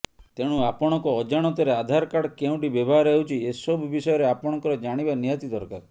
ତେଣୁ ଆପଣଙ୍କ ଅଜାଣତରେ ଆଧାର କାର୍ଡ କେଉଁଠି ବ୍ୟବହାର ହେଉଛି ଏସବୁ ବିଷୟରେ ଆପଣଙ୍କର ଜାଣିବା ନିହାତି ଦରକାର